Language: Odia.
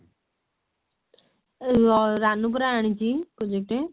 ଅ ରାନୁ ପରା ଆଣିଛି project